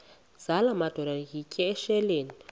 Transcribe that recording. zala madoda yityesheleni